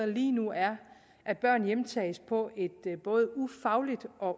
lige nu er at børnene hjemtages på et både ufagligt og